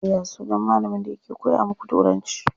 Ya sunan malamin da yake koya muku turanci?